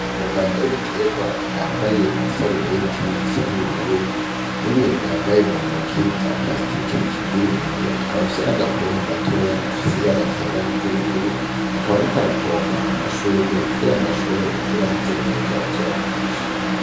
Umuganga w'ibiterwa yambaye isarubeti isa n'ubururu n'inbintu yambaye muntoki vya parasitike bikingir'iminwe ,afise n'agapompo gatoyi gafis'ibara ryera niry'ubururu ,akaba arik arapoma amashurwe kugirango ashobore gukura neza bazoyagurishe.